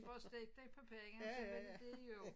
Bare stegt æg på pande og så var det det jo